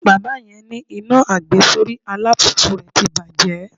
Bàbá yẹn ní iná àgbesórí alùpùpù rè ti bàjẹ́.